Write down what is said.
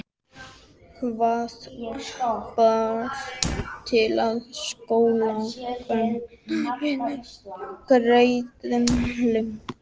Hvað bar til að skólakennarinn gerðist leynierindreki?